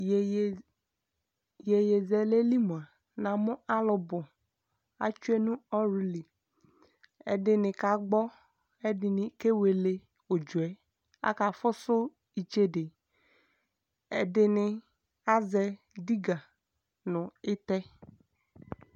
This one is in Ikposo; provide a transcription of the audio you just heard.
Yeye, yeyesɛlɛ li moa, na no alu bo Atsie no li ɛdene kagbɔ kɛ ɛdene ke wele udzɔɛ Akafoso itsede Ɛdene azɛ diga no etɛ